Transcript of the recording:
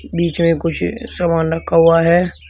बीच में कुछ सामान रखा हुआ है।